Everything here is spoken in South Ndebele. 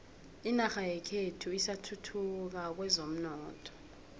inorha yekhethu isathuthuka kwezomnotho